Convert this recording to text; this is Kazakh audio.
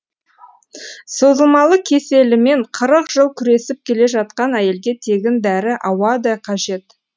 созылмалы кеселімен қырық жыл күресіп келе жатқан әйелге тегін дәрі ауадай қажет